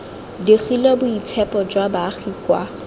digile boitshepo jwa baagi kwa